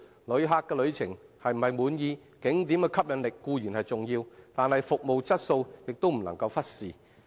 旅客對旅程是否滿意，景點的吸引力固然重要，但服務質素亦不能忽視。